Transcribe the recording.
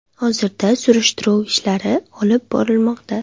Hozirda surishtiruv ishlari olib borilmoqda.